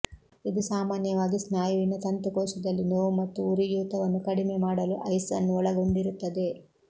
ಇದು ಸಾಮಾನ್ಯವಾಗಿ ಸ್ನಾಯುವಿನ ತಂತುಕೋಶದಲ್ಲಿ ನೋವು ಮತ್ತು ಉರಿಯೂತವನ್ನು ಕಡಿಮೆ ಮಾಡಲು ಐಸ್ ಅನ್ನು ಒಳಗೊಂಡಿರುತ್ತದೆ